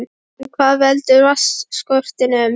En hvað veldur vatnsskortinum?